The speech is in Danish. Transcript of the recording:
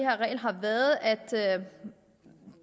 her regel har været at